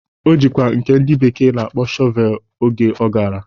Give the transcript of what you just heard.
O jikwa nke ndị bekee na-akpọ Shọvelu oge ọ gara.